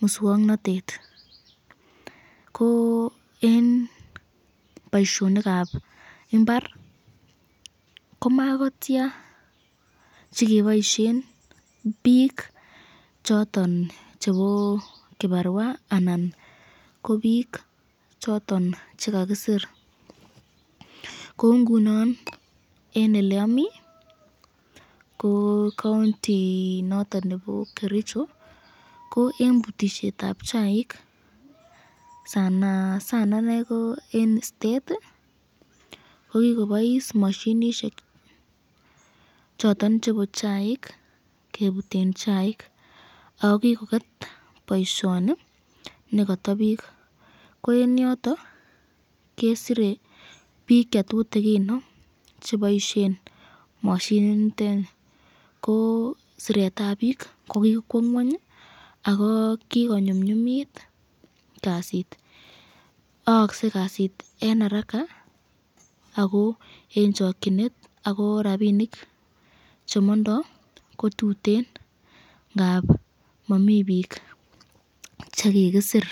muswoknotet ko eng boiyonikab imbar ko makotia chekiboisyen bik choton chebo kibarwa ana ko bik choton chekakisir kou ngunon eng olemami ko kauntit noton nebo Kericho, ko eng butisyetab chaik ,eng stat kokikobais mashinishek choton chebo chaik kebuten chaik ,ko kikoket boisyoni nekata bik ,ko eng yoton kesire bik chetutikino cheboisyen mashinit niteni ,ko siretab bik ko kikwo ngwany ako kikonyumnyumit kasit ,aakse kasit eng araka ako eng chakyinet ako rapinik chemondo kotuten ngapi Mami bik chekakisir.